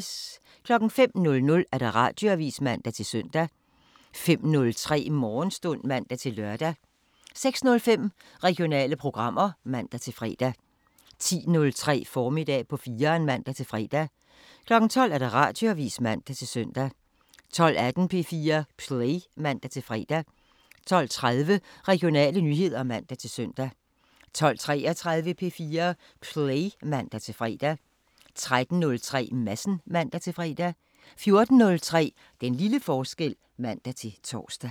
05:00: Radioavisen (man-søn) 05:03: Morgenstund (man-lør) 06:05: Regionale programmer (man-fre) 10:03: Formiddag på 4'eren (man-fre) 12:00: Radioavisen (man-søn) 12:18: P4 Play (man-fre) 12:30: Regionale nyheder (man-søn) 12:33: P4 Play (man-fre) 13:03: Madsen (man-fre) 14:03: Den lille forskel (man-tor)